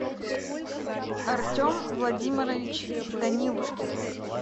артем владимирович данилушкин